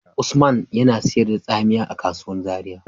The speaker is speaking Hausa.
Usmanya yana sayar da tsamiya a kasuwan Zaria.